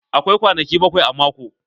Akwai kwanaki bakwai a mako.